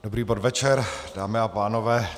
Dobrý podvečer, dámy a pánové.